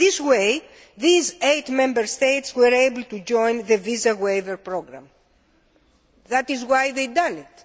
In this way, these eight Member States were able to join the Visa Waiver Programme, which is why they did it.